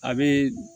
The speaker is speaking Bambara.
A bɛ